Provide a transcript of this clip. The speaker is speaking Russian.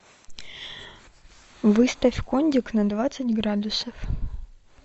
выставь кондик на двадцать градусов